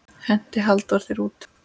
Henti Halldór þér út?